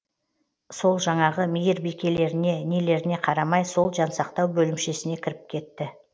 сол жаңағы мейірбикелеріне нелеріне қарамай сол жансақтау бөлімшесіне кіріп кетті